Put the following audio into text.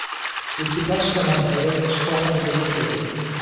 Ekipaj komandiri shifoxonaga yetkazildi.